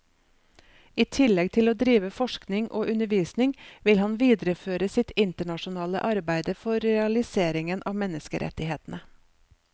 I tillegg til å drive forskning og undervisning vil han videreføre sitt internasjonale arbeide for realiseringen av menneskerettighetene.